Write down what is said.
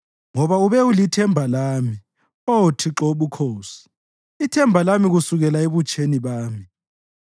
Ngoba ube ulithemba lami, Oh Thixo Wobukhosi, ithemba lami kusukela ebutsheni bami.